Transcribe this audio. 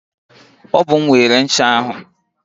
Ọ bụ m weere ncha ahụ.